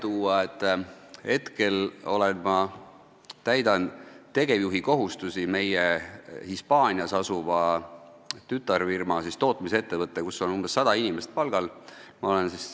Ma praegu täidan tegevjuhi kohustusi meie Hispaanias asuvas tütarfirmas, tootmisettevõttes, kus on umbes 100 inimest palgal.